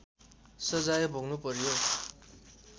सजाय भोग्नुपर्‍यो